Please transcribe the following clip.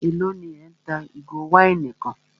Élò ní ẹ́ ń ta ìgò wáìnì kan?